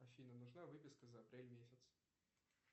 афина нужна выписка за апрель месяц